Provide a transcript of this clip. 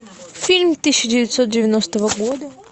фильм тысяча девятьсот девяностого года